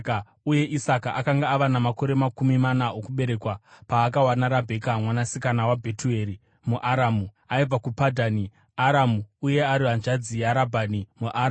uye Isaka akanga ava namakore makumi mana okuberekwa paakawana Rabheka mwanasikana waBhetueri muAramu, aibva kuPadhani Aramu uye ari hanzvadzi yaRabhani muAramu.